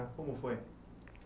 Como foi?